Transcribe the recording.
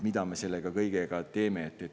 Mida me nende kõigiga teeme?